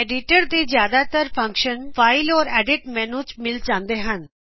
ਜਿਆਦਾਤਰ ਹਰ ਤਰਾ ਦੇ ਐਡੀਟਰ ਦੇ ਫ਼ੰਕਸ਼ਨ ਫਾਈਲ ਅਤੇ ਐਡਿਟਰ ਮੈਨੂ ਵਿਚ ਮਿਲ ਜਾਂਦੇ ਹਨ